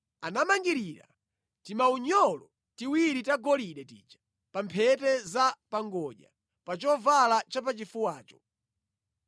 Anamangirira timaunyolo tiwiri tagolide tija pa mphete za pa ngodya pa chovala chapachifuwacho.